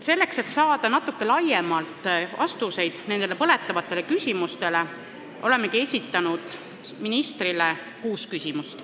Selleks, et saada natuke laiemalt vastuseid nendele põletavatele küsimustele, olemegi esitanud ministrile kuus küsimust.